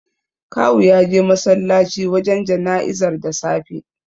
Kawu ya je masallaci wajen jana'izar da safe.